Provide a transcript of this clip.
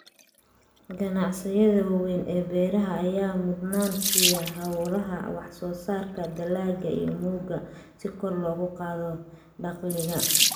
Ganacsiyada waaweyn ee beeraha ayaa mudnaan siiya xawaaraha wax soo saarka dalagga iyo mugga si kor loogu qaado dakhliga.